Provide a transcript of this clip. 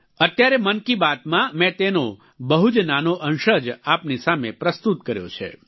અત્યારે મન કી બાતમાં મેં તેનો બહુ જ નાનો અંશ જ આપની સામે પ્રસ્તુત કર્યો છે